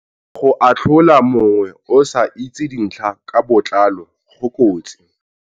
Go atlhola mongwe o sa itse dintlha ka botlalo go kotsi.